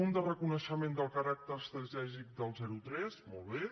un de reconeixement del caràcter estratègic del zero tres molt bé